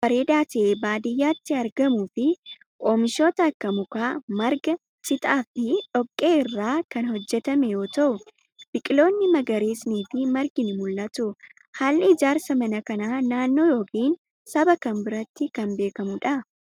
Kun, mana baay'ee bareedaa ta'e baadiyaatti argamuu fi oomishoota akka mukaa, marga ,citaa fi dhoqqee irraa kan hojjatame yoo ta'u, biqiloonni magariisni fi margi ni mul'atu. Haalli ijaarsa mana kanaa naannoo yokin saba kam biratti kan beekamuu dha?